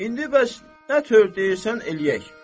İndi bəs nə tör deyirsən eləyək.